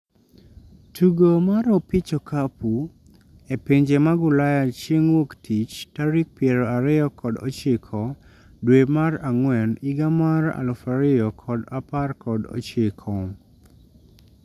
Tugo mar opich okapu e pinje mag ulaya chieng' wuok tich tarik piero ariyo kod ochiko dwe mar ang'wen higa mar 2019